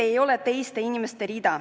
Keel ei ole teiste inimeste rida.